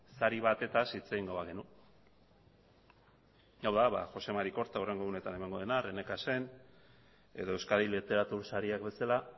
sari batetaz hitz egingo bagenu hau da ba joxe mari korta hurrengo egunetan emango dena edo euskadi literatur sariak bezala